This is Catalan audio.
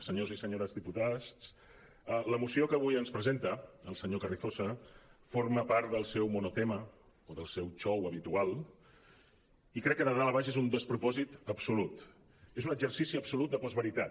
senyors i senyores diputats la moció que avui ens presenta el senyor carrizosa forma part del seu monotema o del seu xou habitual i crec de dalt a baix és un despropòsit absolut és un exercici absolut de postveritat